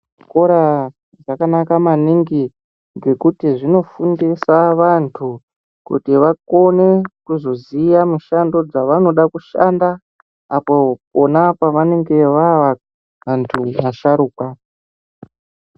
Zvikora zvakanaka maningi ngekuti zvinofundisa vantu kuti vakone kuzoziya mishando dzavanoda kushanda apo pona pavanenge vava vantu vasharukwa.